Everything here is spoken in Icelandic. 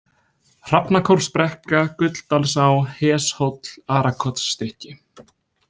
Hrafnakórsbrekka, Gulldalsá, Heshóll, Arakotsstykki